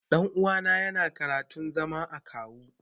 Ɗan uwana yana karantun zama akawu.